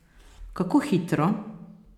Kako hitro?